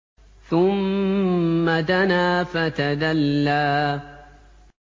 ثُمَّ دَنَا فَتَدَلَّىٰ